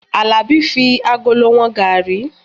Alabi fi agolo wọn garri